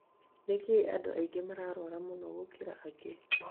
nĩkĩĩ andũ angĩ mararwara mũno gũkira angĩ?